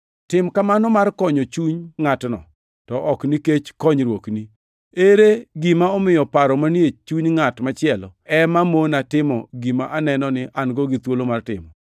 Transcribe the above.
Tim kamano mar konyo chuny ngʼatno, to ok nikech konyruokni. Ere gima omiyo paro manie chuny ngʼat machielo ema mona timo gima aneno ni an gi thuolo mar timo?